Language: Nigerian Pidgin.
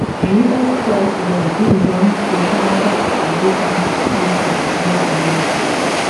us president bin don say canada opposition to im proposal no go